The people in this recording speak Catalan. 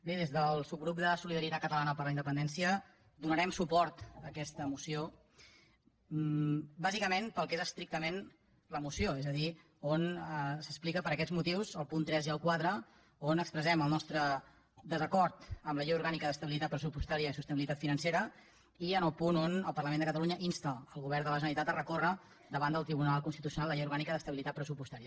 bé des del subgrup de solidaritat catalana per la independència donarem suport a aquesta moció bàsicament pel que és estrictament la moció és a dir on s’explica per aquests motius el punt tres i el quatre on expressem el nostre desacord amb la llei orgànica d’estabilitat pressupostària i sostenibilitat financera i en el punt on el parlament de catalunya insta el govern de la generalitat a recórrer davant del tribunal constitucional la llei orgànica d’estabilitat pressupostària